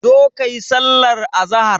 Zo kayi sallar azahar.